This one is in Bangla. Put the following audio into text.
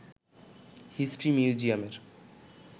হিস্ট্রি মিউজিয়ামের